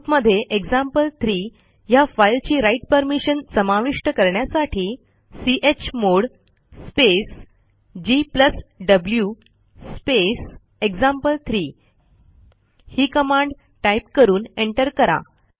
ग्रुपमध्ये एक्झाम्पल3 ह्या फाईलची राइट परमिशन समाविष्ट करण्यासाठी chmod space gw space example three ही कमांड टाईप करून एंटर करा